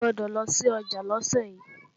O gbọ́dọ̀ lọ sí ọjà lọ́sẹ̀ yí!